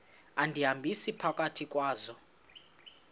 undihambisa phakathi kwazo